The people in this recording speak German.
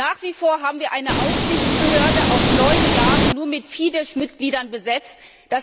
Nach wie vor haben wir eine Aufsichtsbehörde, die auf neun Jahre nur mit Fides Mitgliedern besetzt ist.